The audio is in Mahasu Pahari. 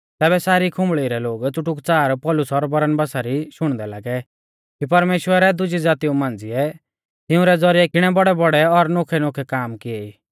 तैबै सारी खुंबल़ी रै लोग च़ुटुकच़ार पौलुस और बरनबासा री शुणदै लागै कि परमेश्‍वरै दुजी ज़ातीऊ मांझ़िऐ तिंउरै ज़ौरिऐ किणै बौड़ैबौड़ै और नोखैनोखै काम किऐ ई